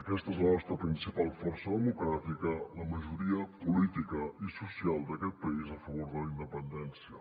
aquesta és la nostra principal força democràtica la majoria política i social d’aquest país a favor de la independència